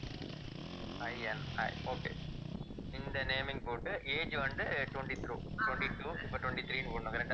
INIokay இந்த naming போட்டு age வந்து twenty-two, twenty-two இப்ப twenty three ன்னு போடணும் correct ஆ